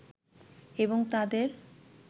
এবং তাদের